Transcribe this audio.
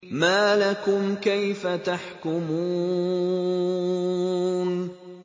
مَا لَكُمْ كَيْفَ تَحْكُمُونَ